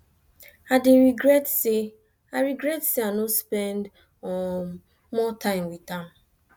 i dey regret say i regret say i no spend um more time with am